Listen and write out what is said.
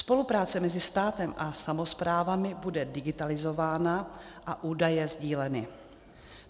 Spolupráce mezi státem a samosprávami bude digitalizována a údaje sdíleny.